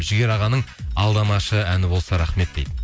жігер ағаның алдамашы әні болса рахмет дейді